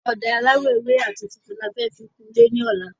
Ọ̀dà aláwò ewé àti funfun ni a fẹ fi kun ilé ní ọ̀lá